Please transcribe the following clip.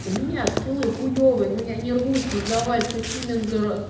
у меня скиллы хуевые но я не рвусь создавались какими дорого